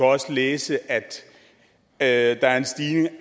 også læse at at der er en stigende